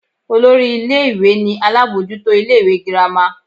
Olori ìlé-ìwé ni alabọjuto ìlé-ìwé gírama.